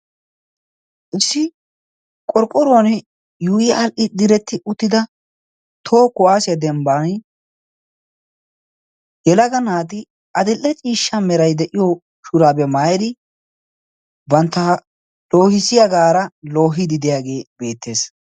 issi qorqquron yu7i hal7hdhi diretti uttida toohu kuwase dembban yelaga naati adil7e ciishsha merai de7iyo shuraabe maayedi bantta loohisiyaagaara loohidideyaagee beettees